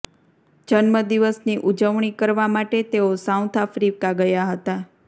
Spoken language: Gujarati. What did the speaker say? જન્મદિવસ ની ઉજવણી કરવા માટે તેઓ સાઉથ આફ્રિકા ગયા હતા